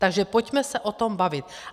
Takže pojďme se o tom bavit.